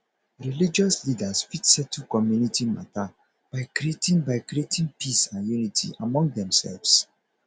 religious leaders fit settle community mata by creating by creating peace and unity among themselves